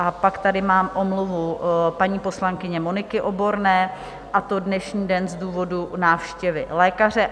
A pak tady mám omluvu paní poslankyně Moniky Oborné, a to dnešní den z důvodu návštěvy lékaře.